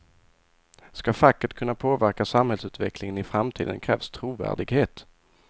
Ska facket kunna påverka samhällsutvecklingen i framtiden krävs trovärdighet.